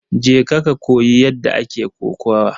Je ka koyi yadda ake kokawa!